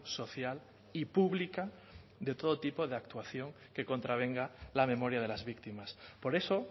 social y pública de todo tipo de actuación que contravenga la memoria de las víctimas por eso